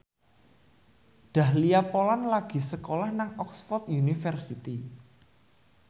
Dahlia Poland lagi sekolah nang Oxford university